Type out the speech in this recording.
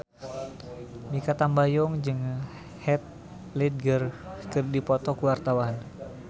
Mikha Tambayong jeung Heath Ledger keur dipoto ku wartawan